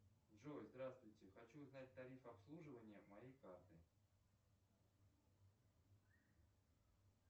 джой здравствуйте хочу узнать тарифы обслуживания моей карты